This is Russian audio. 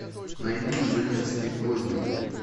найди инженер стив возняк